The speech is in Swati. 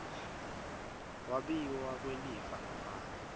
kwabiwa kwelifa ngaphandle